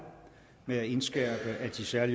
med at indskærpe at de særlige